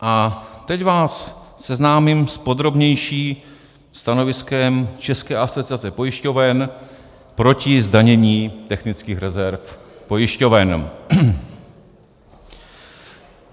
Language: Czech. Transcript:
A teď vás seznámím s podrobnějším stanoviskem České asociace pojišťoven proti zdanění technických rezerv pojišťoven.